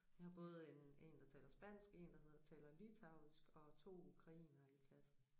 Vi har både en en der spansk en der hedder taler litauisk og to ukrainere i klassen